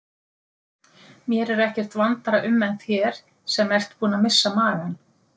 Mér er ekkert vandara um en þér sem ert búin að missa magann.